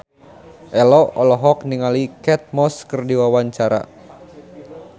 Ello olohok ningali Kate Moss keur diwawancara